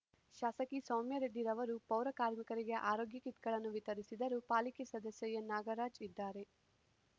ಶಾಸಕಿ ಸೌಮ್ಯ ರೆಡ್ಡಿ ರವರು ಪೌರ ಕಾರ್ಮಿಕರಿಗೆ ಆರೋಗ್ಯ ಕಿಟ್‌ಗಳನ್ನು ವಿತರಿಸಿದರು ಪಾಲಿಕೆ ಸದಸ್ಯ ಎನ್ನಾಗರಾಜ್ ಇದ್ದಾರೆ